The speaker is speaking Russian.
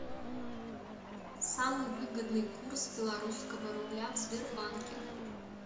самый выгодный курс белорусского рубля в сбербанке